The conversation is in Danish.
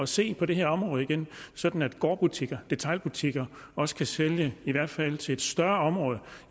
se på det her område igen sådan at gårdbutikker detailbutikker også kan sælge i hvert fald til et større område